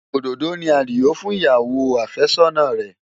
Òdòdó ni Adio fún ìyàwó àfẹ́sọ́nà rẹ̀.